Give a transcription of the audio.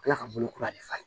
kila ka bolo kura de falen